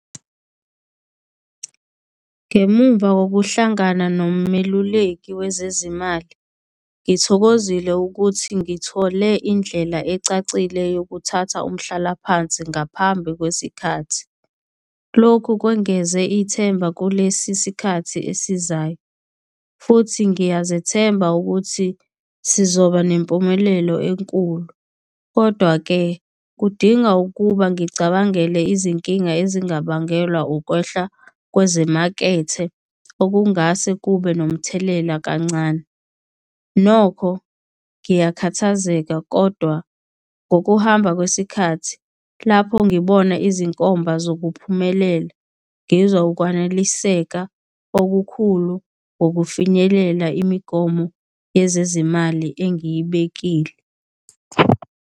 Ngemumva kokuhlangana nomeluleki wezezimali, ngithokozile ukuthi ngithole indlela ecacile yokuthatha umhlalaphansi ngaphambi kwesikhathi, lokhu kwengezwe ithemba kulesi sikhathi esizayo, futhi ngiyasethemba ukuthi sizoba nempumelelo enkulu. Kodwa-ke kudinga ukuba ngicabangele izinkinga ezingabangelwa ukwehla kwezemakethe okungase kube nomthelela kancane. Nokho ngiyakhathazeka kodwa ngokuhamba kwesikhathi lapho ngibona izinkomba zokuphumelela, ngizwa ukwaneliseka okukhulu ngokufinyelela imigomo yezezimali engiyibekile.